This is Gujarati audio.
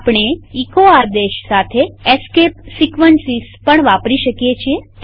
આપણે એચો આદેશ સાથે એસ્કેપ સીક્વન્સીસ પણ વાપરી શકીએ છીએ